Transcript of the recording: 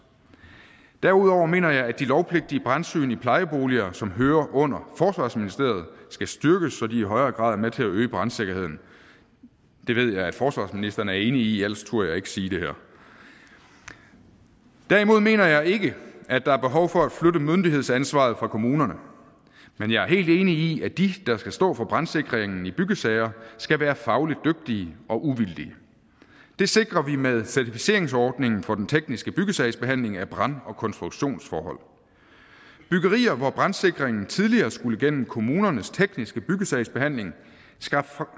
derudover mener jeg at de lovpligtige brandsyn i plejeboliger som hører under forsvarsministeriet skal styrkes så de i højere grad er med til at øge brandsikkerheden det ved jeg at forsvarsministeren er enig i ellers turde jeg ikke sige det her derimod mener jeg ikke at der er behov for at flytte myndighedsansvaret fra kommunerne men jeg helt enig i at de der skal stå for brandsikringen i byggesager skal være fagligt dygtige og uvildige det sikrer vi med certificeringsordningen for den tekniske byggesagsbehandling af brand og konstruktionsforhold byggerier hvor brandsikringen tidligere skulle igennem kommunernes tekniske byggesagsbehandling